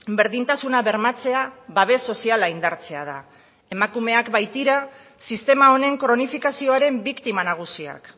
berdintasuna bermatzea babes soziala indartzea da emakumeak baitira sistema honen kronifikazioaren biktima nagusiak